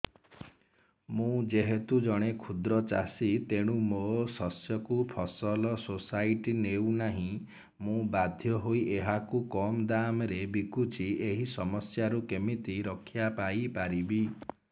ମୁଁ ଯେହେତୁ ଜଣେ କ୍ଷୁଦ୍ର ଚାଷୀ ତେଣୁ ମୋ ଶସ୍ୟକୁ ଫସଲ ସୋସାଇଟି ନେଉ ନାହିଁ ମୁ ବାଧ୍ୟ ହୋଇ ଏହାକୁ କମ୍ ଦାମ୍ ରେ ବିକୁଛି ଏହି ସମସ୍ୟାରୁ କେମିତି ରକ୍ଷାପାଇ ପାରିବି